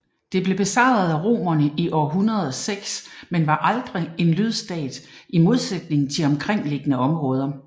Det blev besejret af romerne i år 106 men var aldrig en lydstat i modsætning til de omkringliggende områder